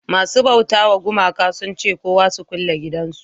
masu bauta wa gumaka sun ce kowa su kulle gidajen su